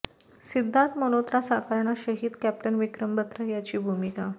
सिद्धार्थ मल्होत्रा साकारणार शहीद कॅप्टन विक्रम बत्रा याची भूमिका